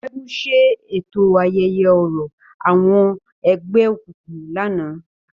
Segun ṣe eto ayẹyẹ orȯ awọn ẹgbẹokunkun lánàá.